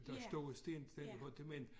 Der står en sten stadig på det men